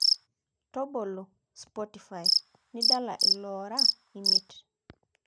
tobolo spotify nidala ilooora emiet